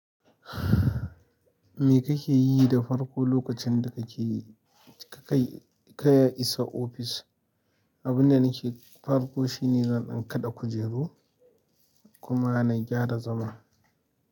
Me kake yi da farko lokacin da ka kai isa ofis? Abun da nake yi farko shine zan kaɗa kujeru kuma na gyara zama.